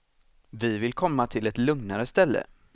Vi vill komma till ett lugnare ställe.